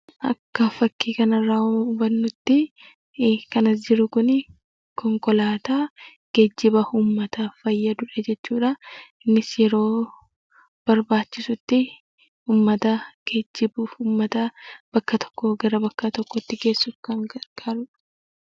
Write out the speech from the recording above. Akka fakkii kana irraa hubannutti kan as jiru kun konkolaataa geejjiba uummataaf fayyadu jechuudha. Innis yeroo barbaachisutti uummata geejjibuuf, uummata bakka tokkoo gara bakka tokkootti geessuuf kan nu gargaarudha.